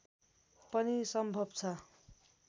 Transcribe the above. पनि सम्भव छ